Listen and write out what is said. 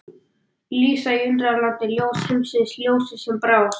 Lísa í Undralandi, Ljós heimsins, Ljósið sem brást.